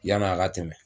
Yann'a ka tɛmɛ